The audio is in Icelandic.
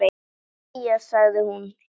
Jæja sagði hún.